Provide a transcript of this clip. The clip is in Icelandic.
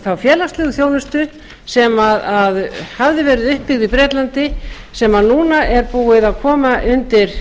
þá félagslegu þjónustu sem hafði verið uppi í bretlandi sem núna er búið að koma undir